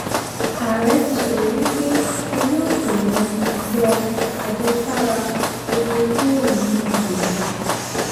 ààrẹ ti ṣèlérí pé wọ́n yọ pé wọ́n yọ àjẹsára epo kúrò nínú gbèsè